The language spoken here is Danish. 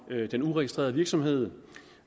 den uregistrerede virksomhed